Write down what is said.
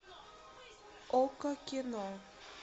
окко кино